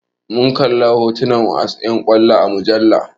Mun kalli hotunan 'yan wasan kwallo a mujalla.